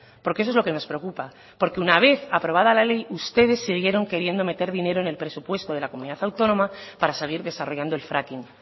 porque eso es lo que nos preocupa porque una vez aprobada la ley ustedes siguieron queriendo meter dinero en el presupuesto de la comunidad autónoma para seguir desarrollando el fracking